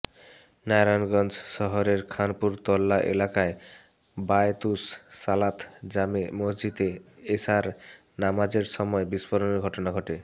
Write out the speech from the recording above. নারায়ণগঞ্জ শহরের খানপুর তল্লা এলাকায় বায়তুস সালাত জামে মসজিদে এশার নামাজের সময় বিস্ফোরণের ঘটনা ঘটে